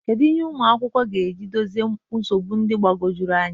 Kedu ihe ụmụ akwụkwọ ga-eji dozie nsogbu ndị dị mgbagwoju anya?